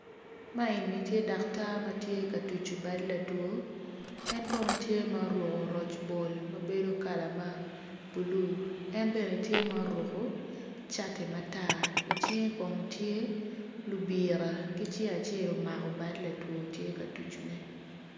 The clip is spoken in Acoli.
Man eni tye daktar ma tye ka tucu bad latwo en kono tye ma oruko roc bol ma bedo bulu en bene tye oruko cati matar i cinge kono tye